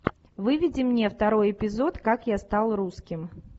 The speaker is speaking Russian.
выведи мне второй эпизод как я стал русским